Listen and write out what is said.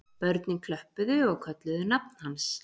Börnin klöppuðu og kölluðu nafn hans